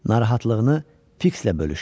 Narahatlığını Fikslə bölüşdü.